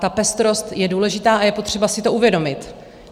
Ta pestrost je důležitá a je potřeba si to uvědomit.